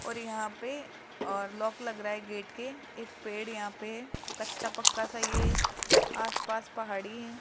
और यहां पे और लॉक लग रहा है गेट के एक पेड़ यहां पे है कच्चा पक्का सा ये आसपास पहाड़ी है।